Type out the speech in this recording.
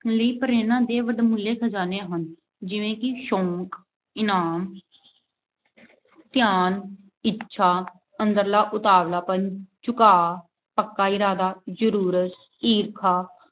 ਲਈ ਪ੍ਰੇਰਨਾ ਦੇ ਵਡਮੁੱਲੇ ਖਜਾਨੇ ਹਨ ਜਿਵੇਂ ਕਿ ਸ਼ੌਂਕ, ਇਨਾਮ ਧਿਆਨ, ਇੱਛਾ, ਅੰਦਰਲਾ ਉਤਾਵਲਾਪਣ, ਝੁਕਾਅ, ਪੱਕਾ ਇਰਾਦਾ, ਜਰੂਰਤ, ਈਰਖਾ